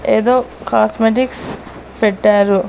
ఎదో కాస్మెటిక్స్ పెట్టారు.